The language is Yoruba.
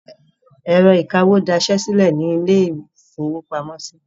Ẹ̀rọ ìkawó dasẹ́ sílẹ̀ ní ilé-ìfowópamọ́sí.